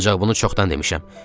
Ancaq bunu çoxdan demişəm.